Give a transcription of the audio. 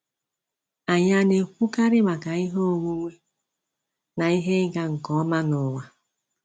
Anyị ana ekwukarị maka ihe onwunwe na ihe ịga nke ọma n’ụwa?